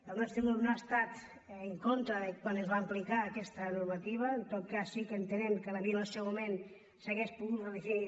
el nostre grup no ha estat en contra de quan es va apli·car aquesta normativa en tot cas sí que entenem que potser en el seu moment s’hauria pogut definir